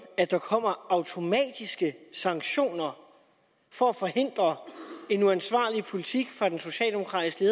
at der kommer automatiske sanktioner for at forhindre en uansvarlig politik fra den socialdemokratisk